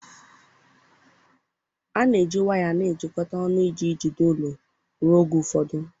A na-eji waya na-ejikọta ọnụ iji jide elu ụlọ ruo oge ụfọdụ